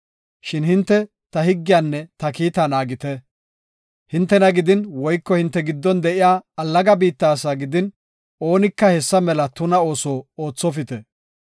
Shin hinte ta higgiyanne ta kiita naagite. Hintena gidin woyko hinte giddon de7iya allaga biitta asaa gidin oonika hessa mela tuna ooso oothopite.